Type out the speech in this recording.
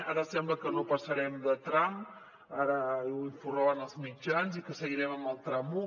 ara sembla que no passarem de tram ara n’informaven els mitjans i que seguirem en el tram un